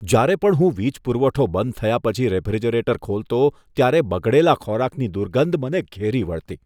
જ્યારે પણ હું વીજ પુરવઠો બંધ થયા પછી રેફ્રિજરેટર ખોલતો, ત્યારે બગડેલા ખોરાકની દુર્ગંધ મને ઘેરી વળતી.